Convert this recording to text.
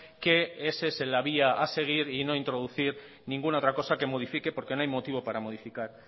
que esa es la vía a seguir y no introducir ninguna otra cosa que modifique porque no hay motivo para modificar